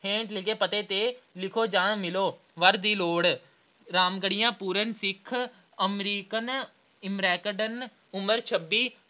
ਹੇਠ ਲਿਖੇ ਪਤੇ ਤੇ ਲਿਖੋ ਜਾਂ ਮਿਲੋ ਵਰ ਦੀ ਲੋੜ ਰਾਮਗੜ੍ਹੀਆ ਪੂਰਨ ਸਿੱਖ American ਅਹ ਅਮੈਕਡਰਨ ਉਮਰ ਛੱਬੀ